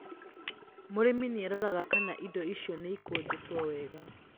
Mũrĩmi nĩ aroraga kana indo icio nĩ ikũnjĩtwo wega